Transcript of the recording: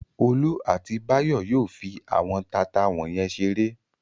Olú àti Báyọ̀ yóò fi àwọn taata wọ̀nyẹn ṣeré.